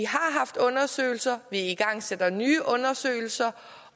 haft undersøgelser vi igangsætter nye undersøgelser